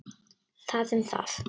Það um það.